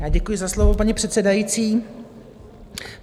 Já děkuji za slovo, paní předsedající.